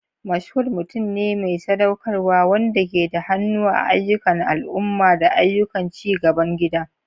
Mashood mutum ne mai sadaukarwa wanda ke da hannu a ayyukan al'umma da ayyukan ci gaban gida.